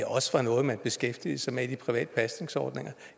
også var noget man beskæftigede sig med i de private pasningsordninger